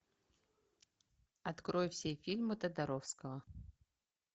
открой все фильмы тодоровского